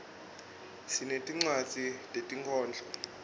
sinetincwadzi tetinkhondlo